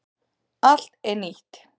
Allt er nýtt.